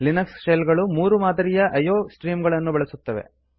Linux shell ಗಳು ಮೂರು ಮಾದರಿಯ iಒ ಸ್ಟ್ರೀಮ್ ಗಳನ್ನು ಬಳಸುತ್ತವೆ